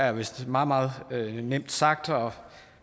er vist meget meget nemt sagt og